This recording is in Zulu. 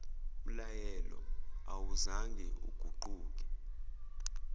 mlayelo awuzange uguquke